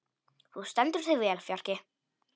Þú stendur þig vel, Fjarki!